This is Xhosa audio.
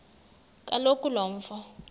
kaloku lo mfo